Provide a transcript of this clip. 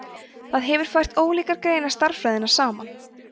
það hefur fært ólíkar greinar stærðfræðinnar saman